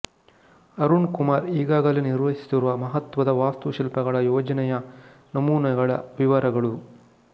ಅರುಣ್ ಕುಮಾರ್ ಈಗಾಗಲೇ ನಿರ್ವಹಿಸುತ್ತಿರುವ ಮಹತ್ವದ ವಾಸ್ತು ಶಿಲ್ಪಗಳ ಯೋಜನೆಯ ನಮೂನೆಗಳ ವಿವರಗಳು